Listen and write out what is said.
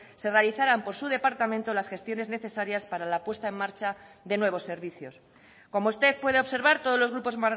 se realizarán por su departamento las gestiones necesarias para la puesta en marcha de nuevos servicios como usted puede observar todos los grupos